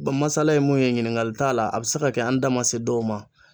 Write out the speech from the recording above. Ba masala ye mun ye ɲiniŋali t'a la, a bɛ se ka kɛ an da ma se dɔw ma.